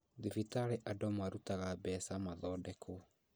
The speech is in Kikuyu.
Thibitarĩ andũ marutaga mbeca mathondekwo